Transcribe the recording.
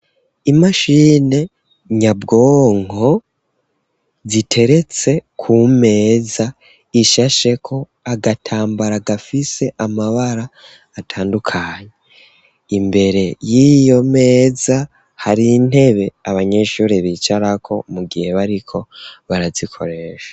Imashine nyabwonko, ziteretse ku meza ishasheko agatambara, gafise amabara atandukanye; imbere y'iyo meza, hari intebe, abanyeshure bicarako, mu gihe bariko barazikoresha.